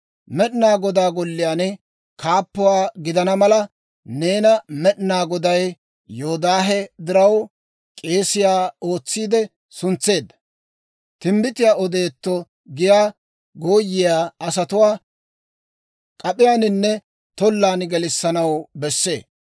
«Med'inaa Godaa Golliyaan kaappuwaa gidana mala, neena Med'inaa Goday Yoodaahe diraw k'eesiyaa ootsiide suntseedda. Timbbitiyaa odeetto giyaa gooyiyaa asatuwaa, k'ap'iyaaninne tollan gelissanaw bessee.